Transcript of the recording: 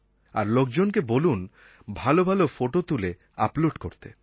আর লোকজনকে বলুন ভালো ভালো ফোটো তুলে আপলোড করতে